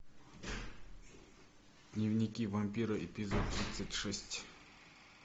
дневники вампира эпизод тридцать шесть